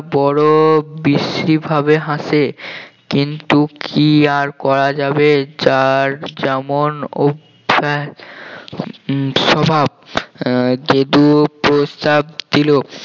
বড় বিশ্রীভাবে হাসে কিন্তু কি আর করা যাবে যার যেমন অভ্যাস উম স্বভাব আহ গেদু প্রস্তাব দিল